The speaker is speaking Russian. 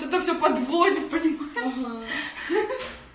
тогда все подводят почему